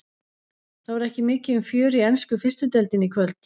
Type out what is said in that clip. Það var ekki mikið um fjör í ensku fyrstu deildinni í kvöld.